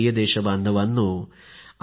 माझ्या प्रिय देशबांधवांनो